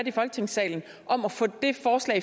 i folketingssalen om at få det forslag